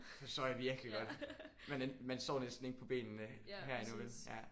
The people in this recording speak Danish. Forstår jeg virkelig godt. Man ikke man står næsten ikke på benene her endnu vel